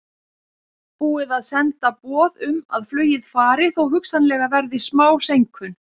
Búið er að senda boð um að flugið fari þó hugsanlega verði smá seinkun.